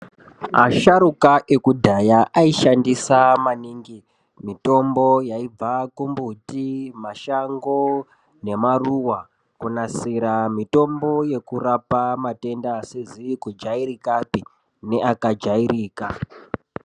Asharuka ekudhaya aishandisa maningi mitombo yaibva kumbuti mashamgo nemaruwa kunasira mitombo yekurapa matenda asizi kujairikapi neakajairika.